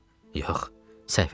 Yox, səhv eləyirsən.